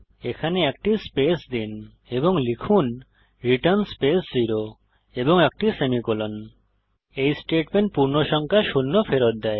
এখানে একটি স্পেস দিন এবং লিখুন রিটার্ন স্পেস 0 এবং একটি সেমিকোলন এই স্টেটমেন্ট পূর্ণসংখ্যা শূন্য ফেরত দেয়